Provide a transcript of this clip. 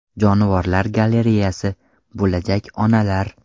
Jonivorlar galereyasi: Bo‘lajak onalar.